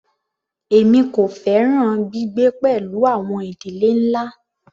Èmi kò fẹ́ràn gbígbé pẹ̀lú àwọn ìdílé ńlá.